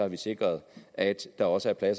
vi sikret at der også er